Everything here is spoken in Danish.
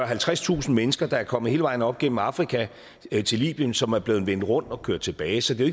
halvtredstusind mennesker der er kommet hele vejen op gennem afrika til libyen som er blevet vendt rundt og kørt tilbage så det er